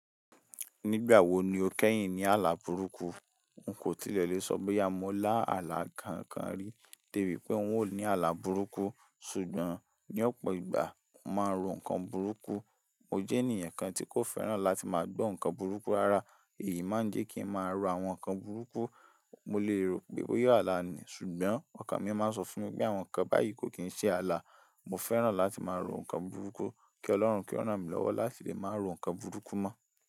Nígbà wo ni o kẹ́yìn ní ààlà burúkú? N kò tilẹ̀ lè sọ bóyá mo lá àlá kankan rí, débi pé n ò ní àlá burúkú. Sugbon, ní ọ̀pọ̀ ìgbà mo máa ń ro ǹkan burúkú. Mo jẹ́ ènìyàn kan tí kò fẹ́ràn láti máa gbọ́ ǹkan burúkú rárá. Èyí máa ń jẹ́ kí ń máa ro àwọn ǹkan burúkú. Mo lè rò pé bóyá àlà ni, ṣùgbọ́n ọkàn mi máa ń sọ fún mi pé àwọn ǹkan báyìí kò kí ń ṣe àlá. Mo fẹ́ràn láti máa ro ǹkan burúkú. Kí Ọlọ́run kí ó ràn mí lọ́wọ́ láti lè máa ro ǹkan burúkú mọ́.